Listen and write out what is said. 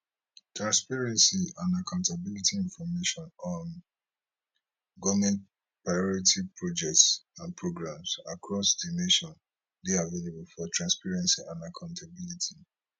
transparency and accountabilityinformation on goment priority projects and programs across di nation dey available for transparency and accountability